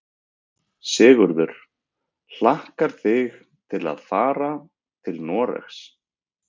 Sigurður: Hlakkar þig til að fara til Noregs?